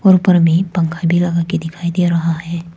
ऊपर में पंखा भी लगा के दिखाई दे रहा है।